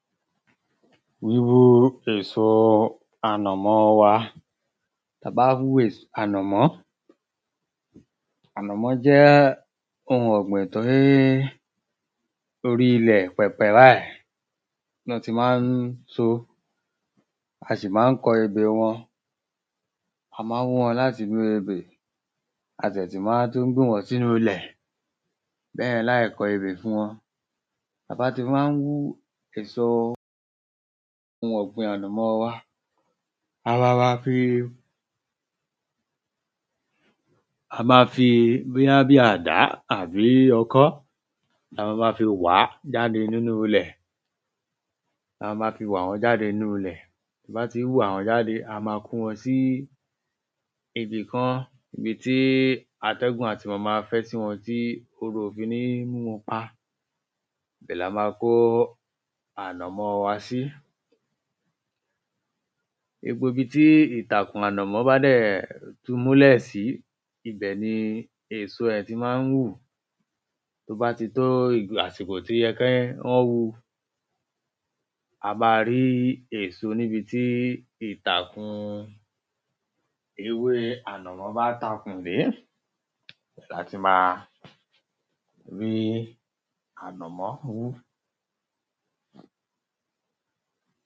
Wíwú èsoo ànàmọ́ wa Ta bá wú ès ànàmọ́ Ànàmọ́ jẹ́ oun ọ̀gbìn tí oríi ilẹ̀ pẹ̀pẹ̀ báì ná ti má ń so ó A sì má ń kọ ebè wọn A má ń wú wọn láti inú ebè A ṣẹ̀ ti má ń tún gbìn wọ́n sínú ilẹ̀ bẹ́ẹ̀ láì kọ ebè fún wọn Ta bá ti má ń wú èso oun ọ̀gbìn ànàmọ́ wa a má fi bóyá bíi àdá àbí ọkọ́ lama ma fi wàá jáde nínu ilẹ̀ A ma ma fi wà wọ́n jáde nínu ilẹ̀ Tí a bá ti wà wọ́n jáde a ma ma kó wọn sí ibì kan ibi tí atẹ́gùn á ti ma ma fẹ́ sí wọn tí oru ò fi ní mú wọn pa Ibẹ̀ lama kó ànàmọ́ wa sí Gbogbo ibi tí ìtàkùn ànàmọ́ bá dẹ̀ ti múlẹ̀ sí ibẹ̀ ni èso ẹ̀ ti má ń hù Tó bá ti tó àsìkò tó yẹ kí wọ́n wú u a ma rí èso níbi tí ìtàkùn ewé ànàmọ́ bá takùn dé ni a ti ma rí ànàmọ́ wú